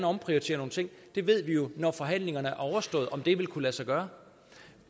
omprioritere nogle ting vi ved jo når forhandlingerne er overstået om det vil kunne lade sig gøre